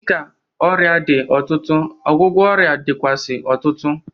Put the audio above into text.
Dịka ọrịa dị ọtụtụ, ọgwụgwọ ọrịa dịkwuazị ọtụtụ.